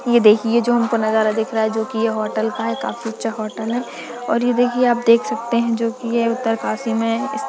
ये देखिए जो हमको नजारा दिख रहा है जो कि ये होटल का है काफी अच्छा होटल है और ये देखिए आप देख सकते हैं जो कि ये उत्तरकाशी में है इस --